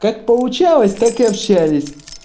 как получалось так и общались